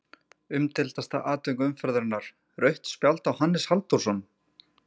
Umdeildasta atvik umferðarinnar: Rautt spjald á Hannes Halldórsson?